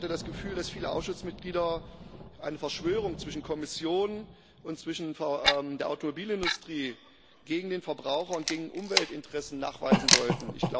Ich hatte das Gefühl, dass viele Ausschussmitglieder eine Verschwörung zwischen Kommission und der Automobilindustrie gegen den Verbraucher und gegen Umweltinteressen nachweisen wollten.